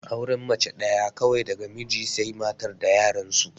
Auren mace ɗaya kawai daga mijin sai matar da yaran su